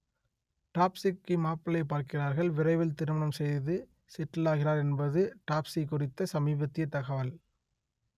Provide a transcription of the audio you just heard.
தாப்ஸிக்கு மாப்பிள்ளை பார்க்கிறார்கள் விரைவில் திருமணம் செய்து செட்டிலாகிறார் என்பது தாப்ஸி குறித்த சமீபத்திய தகவல்